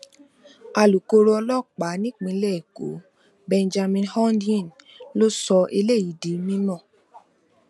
alūkkóró ọlọpàá nípìnlẹ ẹkọ benjamin hondyin ló sọ eléyìí di mímọ